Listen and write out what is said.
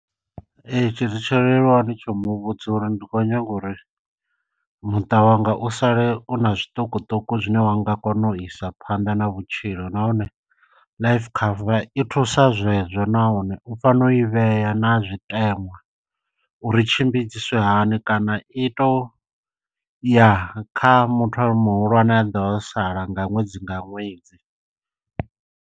Ee tshi zwi tsholeluwaho ndi tsho muvhudza uri ndi khou nyaga uri muṱa wanga u sale u na zwiṱukuṱuku zwine wa nga kona u isa phanḓa na vhutshilo, nahone life cover i thusa zwe zwo nahone u fanela u i vhea na zwiteṅwa uri i tshimbidziswe hani kana i to ya kha muthu muhulwane ano ḓovha o sala nga ṅwedzi nga ṅwedzi.